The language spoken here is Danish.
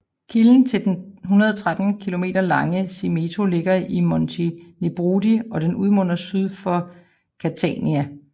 Kilden til den 113 kilometer lange Simeto ligger i Monti Nebrodi og den udmunder syd for Catania